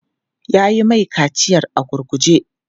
Yi mai kaciyar a gurguje!